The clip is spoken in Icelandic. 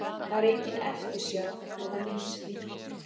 Það er engin eftirsjá eða neitt slíkt.